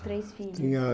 Três filhos. Tinha